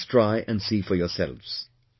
Just try and see for yourselves